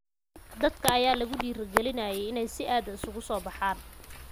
Dadka ayaa lagu dhiirigeliyay inay si aad ah isugu soo baxaan.